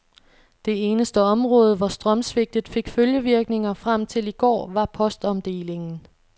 Det eneste område, hvor strømsvigtet fik følgevirkninger frem til i går, var postomdelingen.